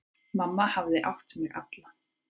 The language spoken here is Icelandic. Mamma hafði átt mig alla.